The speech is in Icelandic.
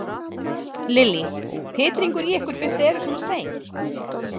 Lillý: Titringur í ykkur fyrst þið eruð svona sein?